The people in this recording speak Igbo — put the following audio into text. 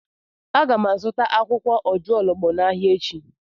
Aga m azụta akwụkwọ ojuologbo n'ahịa echi.